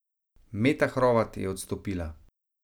Meta Hrovat je odstopila.